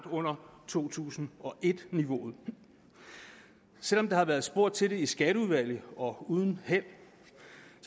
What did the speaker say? under to tusind og et niveauet selv om der har været spurgt til det i skatteudvalget og uden held